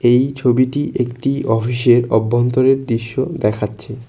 এই ছবিটি একটি অফিস -এর অভ্যন্তরের দৃশ্য দেখাচ্ছে।